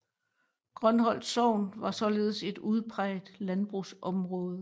Grønholt sogn var således et udpræget landbrugsområde